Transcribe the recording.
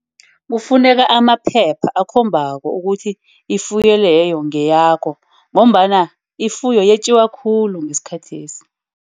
Kufuneka amaphepha akhombako ukuthi ifuyo leyo ngeyakho. Ngombana ifuyo yetjiwa khulu ngesikhathesi.